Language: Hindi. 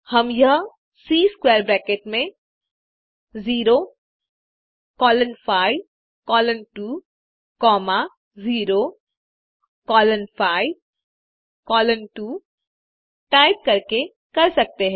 हम यह सी स्क्वैर ब्रैकेट में 0 colon 5 colon 2 comma 0 colon 5 colon 2 type करके कर सकते हैं